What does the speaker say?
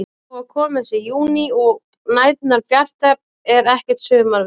Þó að kominn sé júní og næturnar bjartar er ekkert sumarveður.